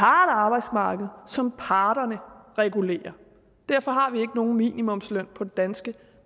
arbejdsmarked som parterne regulerer og derfor har vi nogen minimumsløn på det danske